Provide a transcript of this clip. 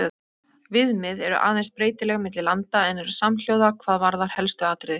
Viðmið eru aðeins breytileg milli landa en eru samhljóða hvað varðar helstu atriði.